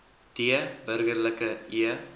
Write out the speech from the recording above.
d burgerlike e